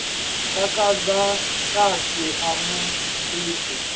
takadza khasi ama u itiwa